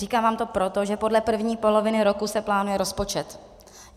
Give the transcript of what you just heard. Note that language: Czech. Říkám vám to proto, že podle první poloviny roku se plánuje rozpočet.